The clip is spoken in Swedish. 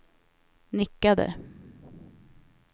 nickade